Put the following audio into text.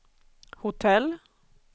hotell